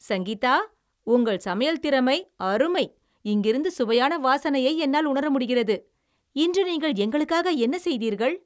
சங்கீதா, உங்கள் சமையல் திறமை அருமை. இங்கிருந்து சுவையான வாசனையை என்னால் உணர முடிகிறது. இன்று நீங்கள் எங்களுக்காக என்ன செய்தீர்கள்?